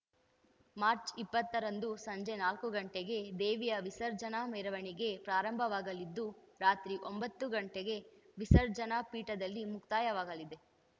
March ಇಪ್ಪತ್ತರಂದು ಸಂಜೆ ನಾಲ್ಕು ಘಂಟೆಗೆ ದೇವಿಯ ವಿಸರ್ಜನಾ ಮೆರವಣಿಗೆ ಪ್ರಾರಂಭವಾಗಲಿದ್ದು ರಾತ್ರಿ ಒಂಬತ್ತು ಘಂಟೆಗೆ ವಿಸರ್ಜನಾ ಫೀಠದಲ್ಲಿ ಮುಕ್ತಾಯವಾಗಲಿದೆ